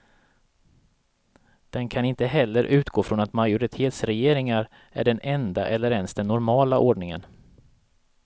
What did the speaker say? Den kan inte heller utgå från att majoritetsregeringar är den enda eller ens den normala ordningen.